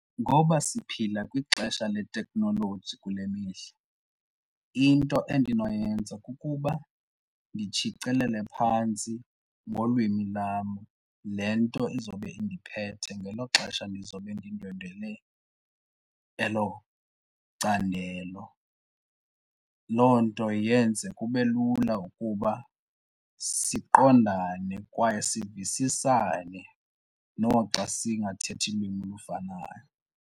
Ngoba siphila kwixesha leteknoloji kule mihla, into endinoyenza kukuba nditshicilele phantsi ngolwimi lwam le nto izobe indiphethe ngelo xesha ndizobe ndindwendwele elo candelo. Loo nto yenze kube lula ukuba siqondane kwaye sivisisane noxa singathetha ulwimi olufanayo.